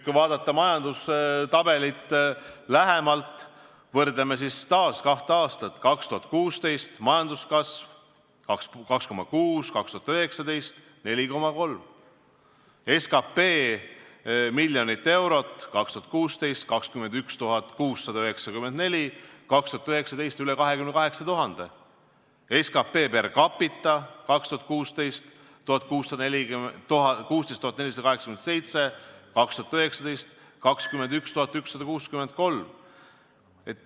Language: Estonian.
Kui vaadata majandustabelit lähemalt, võrdleme siis taas kahte aastat: 2016. aasta majanduskasv – 2,6 ja 2019, aastal – 4,3; SKT, miljonit eurot, 2016 – 21 694, 2019 üle 28 000; SKT per capita 2016 – 16 487, 2019 – 21 163.